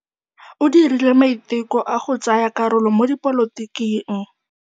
O dirile maitekô a go tsaya karolo mo dipolotiking.